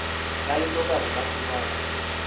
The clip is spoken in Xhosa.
bale ntokazi yahlukana